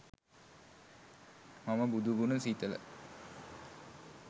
මම බුදු ගුණ සිතල